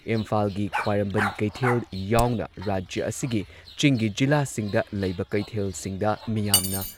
ꯏꯝꯐꯥꯜꯒꯤ ꯈ꯭ꯋꯥꯏꯔꯝꯕꯟ ꯀꯩꯊꯦꯜ ꯌꯥꯎꯅ ꯔꯥꯖ꯭ꯌ ꯑꯁꯤꯒꯤ ꯆꯤꯡꯒꯤ ꯖꯤꯂꯥꯁꯤꯡꯗ ꯂꯩꯕ ꯀꯩꯊꯦꯜꯁꯤꯡꯗ ꯃꯤꯌꯥꯝꯅ